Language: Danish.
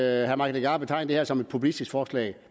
af at herre mike legarth betegner det her som et populistisk forslag